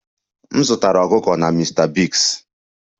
M zụtara ọkụkọ na Mr biggs